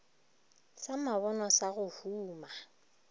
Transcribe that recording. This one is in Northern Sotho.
sa mabonwa sa go huma